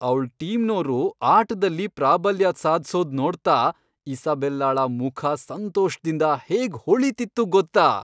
ಅವ್ಳ್ ಟೀಮ್ನೋರು ಆಟ್ದಲ್ಲಿ ಪ್ರಾಬಲ್ಯ ಸಾಧ್ಸೋದ್ ನೋಡ್ತಾ ಇಸಾಬೆಲ್ಲಾಳ ಮುಖ ಸಂತೋಷ್ದಿಂದ ಹೇಗ್ ಹೊಳೀತಿತ್ತು ಗೊತ್ತಾ?